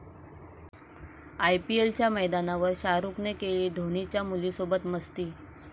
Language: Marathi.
आयपीएलच्या मैदानावर शाहरुखने केली धोनीच्या मुलीसोबत मस्ती!